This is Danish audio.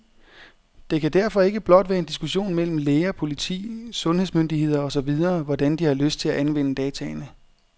Det kan derfor ikke blot være en diskussion mellem læger, politi, sundhedsmyndigheder og så videre, hvordan de har lyst til at anvende dataene.